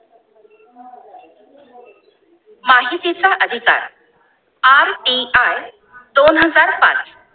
माहिती चा अधिकार RTI दोन हजार पांच